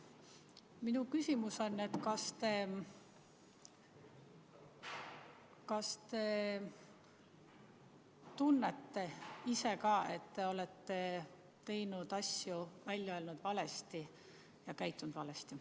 Minu küsimus on: kas te tunnete ise ka, et te olete valesti asju välja öelnud ja käitunud?